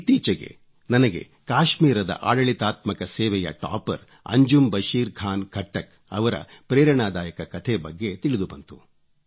ಇತ್ತೀಚೆಗೆ ನನಗೆ ಕಾಶ್ಮೀರದ ಆಡಳಿತಾತ್ಮಕ ಸೇವೆಯ ಟಾಪರ್ ಅಂಜುಮ್ ಬಶೀರ್ ಖಾನ್ ಖಟ್ಟಕ್ ಅವರ ಪ್ರೇರಣಾದಾಯಕ ಕಥೆ ಬಗ್ಗೆ ತಿಳಿದುಬಂತು